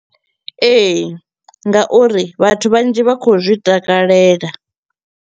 Ee, nga uri vhathu vhanzhi vha kho u zwi takalela.